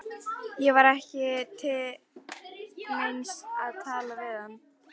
Það var ekki til neins að tala við hann.